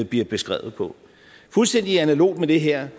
bliver beskrevet på fuldstændig analogt med det her